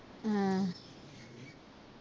ਹਾਂ